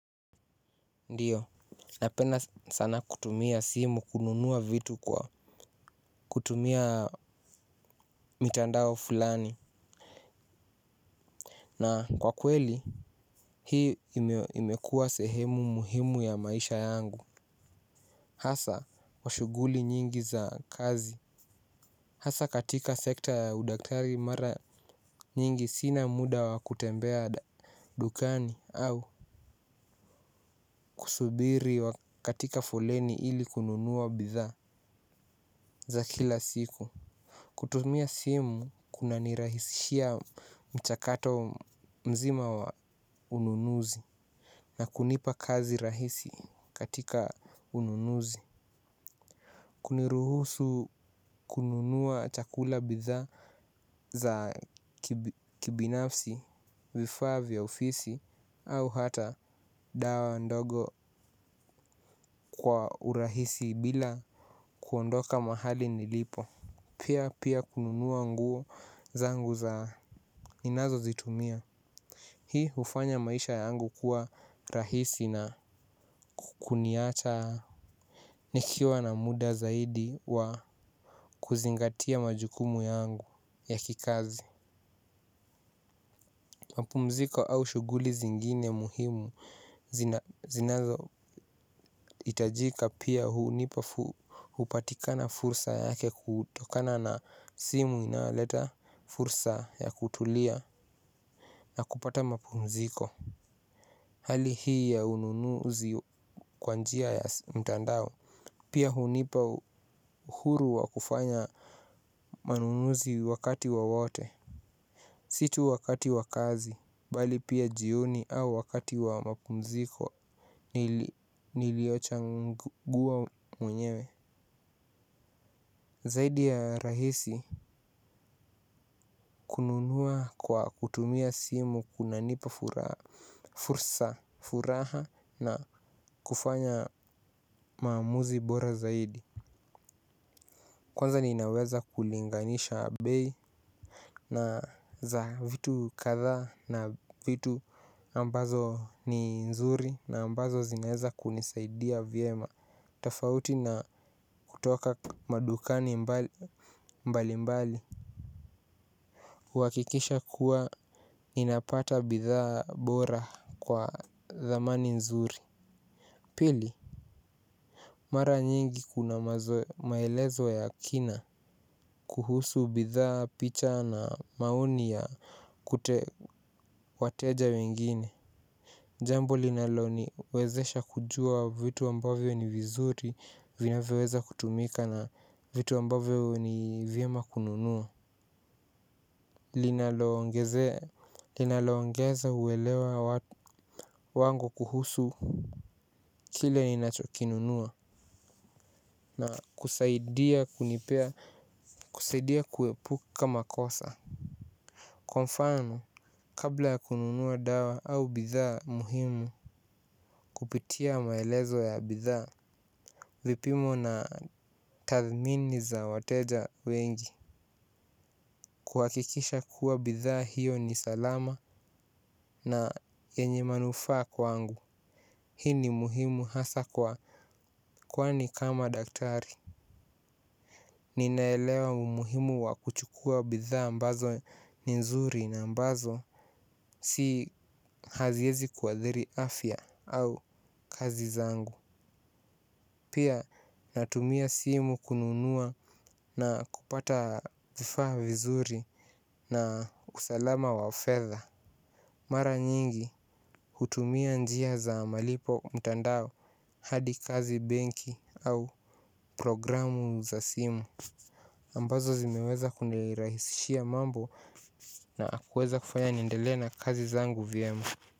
Ndiyo, napenda sana kutumia simu kununuwa vitu kwa kutumia mitandao fulani na kwa kweli hii imekua sehemu ya maisha yangu hasa kwa shughuli nyingi za kazi. Hasa katika sekta ya udaktari mara nyingi sina muda wa kutembea dukani au kusubiri katika foleni ili kununuwa bidhaa za kila siku kutumia simu kuna nirahisishia mchakato mzima wa ununuzi na kunipa kazi rahisi katika ununuzi. Kuniruhusu kununua chakula bidhaa za kibinafsi vifaa vya ofisi au hata dawa ndogo kwa urahisi bila kuondoka mahali nilipo. Pia pia kununua nguo zangu za ninazo zitumia. Hii hufanya maisha yangu kuwa rahisi na kuniacha nikiwa na muda zaidi wa kuzingatia majukumu yangu ya kikazi. Mapumziko au shughuli zingine muhimu zinazo hitajika pia hunipa hupatika fursa yake kutokana na simu inayoleta fursa ya kutulia. Na kupata mapumziko. Hali hii ya ununuzi kwa njia ya mtandao. Pia hunipa huru wa kufanya manunuzi wakati wowote. Si tu wakati wa kazi bali pia jioni au wakati wa mapumziko. Nilio chagua mwenyewe. Zaidi ya rahisi kununua kwa kutumia simu kunanipa furaha. Fursa furaha na kufanya maamuzi bora zaidi. Kwanza ninaweza kulinganisha bei na za vitu kadhaa na vitu ambazo ni nzuri na ambazo zinaweza kunisaidia vyema. Tofauti na kutoka madukani mbali mbali kuhakikisha kuwa ninapata bidhaa bora kwa dhamani nzuri. Pili mara nyingi kuna maelezo ya kina kuhusu bidhaa picha na maoni ya kute wateja wengine. Jambo linalo ni wezesha kujua vitu ambavyo ni vizuri vinavyoweza kutumika na vitu ambavyo ni vyema kununua linalo ongeza uelewa wangu kuhusu kile ninacho kinunua. Na kusaidia kunipea kusaidia kuepu makosa. Kwa mfano kabla ya kununuwa dawa au bidhaa muhimu kupitia maelezo ya bidhaa. Vipimo na tathmini za wateja wengi kuhakikisha kuwa bidhaa hiyo ni salama na yenye manufaa kwangu. Hii ni muhimu hasa kwa kwani kama daktari. Ninaelewa umuhimu wa kuchukua bidha ambazo ni nzuri na ambazo si haziezi kuathiri afya au kazi zangu. Pia natumia simu kununua na kupata vifaa vizuri na usalama wa fedha. Mara nyingi hutumia njia za malipo mtandao hadi kazi benki au programu za simu ambazo zimeweza kunirahisishia mambo na akuweza kufanya niendelea na kazi zangu vyema.